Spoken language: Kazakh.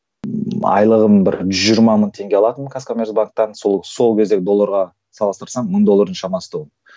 айлығым бір жүз жиырма мың теңге алатынмын казкомерцбанктан сол сол кездегі долларға салыстырсам мың доллар шамасы тұғын